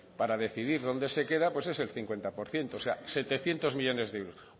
para decidir dónde que queda es el cincuenta por ciento o sea setecientos millónes de euros